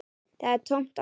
Það er tómt án þín.